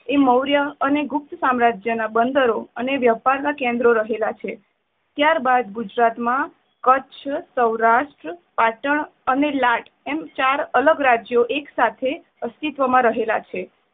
એ મોર્ય અને ગુપ્ત સામ્રાજ્ય ના બંદરો અને વ્યાપાર ના કેન્દ્રો રહેલા છે. ત્યારબાદ ગુજરાતમાં કચ્છ સૌરાષ્ટ્ર પાટણ અને લાટ એમ ચાર અલગ રાજ્ય એકસાથે અસ્તિત્વ માં રહેલા છે.